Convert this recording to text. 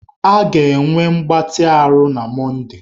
A ga-enwe mgbatị ahụ na Mọnde.